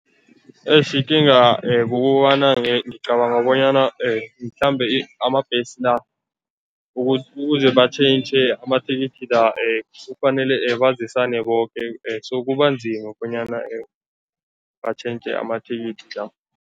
Eish ikinga kukobana ngicabanga bonyana mhlambe amambhesi la, ukuze batjhentjhe amathikithi la, kufanele bazisane boke so kubanzima bonyana batjhentjhe amathikithi la.